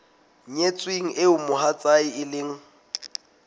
nyetsweng eo mohatsae e leng